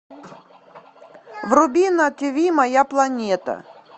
вруби на ти ви моя планета